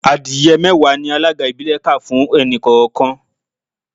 Adìẹ mẹ́wàá ni alága ìbílẹ̀ kà fún ẹnì kọ̀ọ̀kan